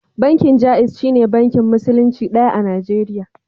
Bankin Jaiz shine bankin Musulunci ɗaya a Najeriya.